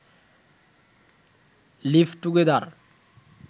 live together